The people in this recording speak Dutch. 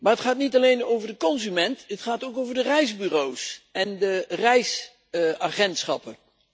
Maar het gaat niet alleen over de consument, het gaat ook over de reisbureaus en de reisagentschappen.